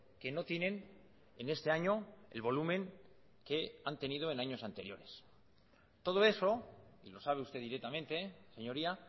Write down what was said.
que no tienen en este año el volumen que han tenido en años anteriores todo eso y lo sabe usted directamente señoría